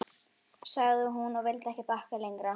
sagði hún, og vildi ekki bakka lengra.